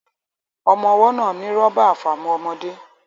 Ọmọ́ ọwọ́ náà ní rọ́bà àfàmu ọmọde